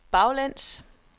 baglæns